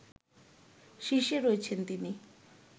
শীর্ষে রয়েছেন তিনি